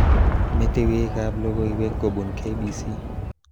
Metewekab logoiwek kobun K.B.C